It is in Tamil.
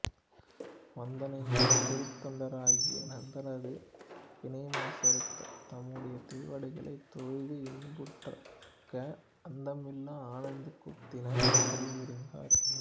வந்தணைந்த திருத்தொண்டராகிய நந்தனாரது வினைமாசறுத்துத் தம்முடைய திருவடிகளைத் தொழுது இன்புற்றிருக்க அந்தமில்லா ஆனந்தக் கூத்தினர் அருள் புரிந்தார்